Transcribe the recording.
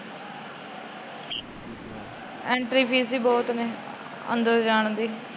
Entry fees ਏ ਬਹੁਤ ਏ। ਅੰਦਰ ਜਾਣ ਦੀ।